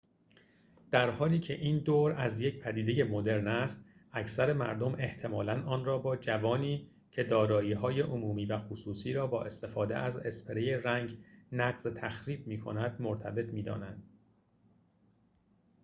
در حالی که این دور از یک پدیده مدرن است اکثر مردم احتمالاً آن را با جوانی که دارایی های عمومی و خصوصی را با استفاده از اسپری رنگ نقض تخریب می‌کند مرتبط می دانند